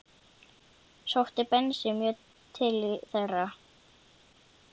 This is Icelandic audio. Sótti Bensi mjög til þeirra.